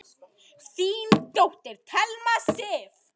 Þín dóttir, Thelma Sif.